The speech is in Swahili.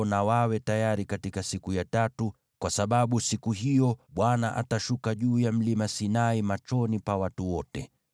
na wawe tayari siku ya tatu, kwa sababu siku hiyo, Bwana atashuka juu ya mlima Sinai machoni pa watu wote.